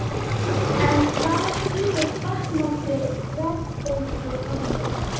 En hvað skýrir batnandi verðbólguhorfur?